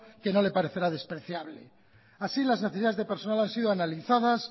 que no le parecerá despreciable así las necesidades de personal han sido analizadas